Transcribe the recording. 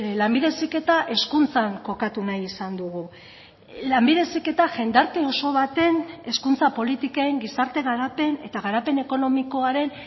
lanbide heziketa hezkuntzan kokatu nahi izan dugu lanbide heziketa jendarte oso baten hezkuntza politiken gizarte garapen eta garapen ekonomikoaren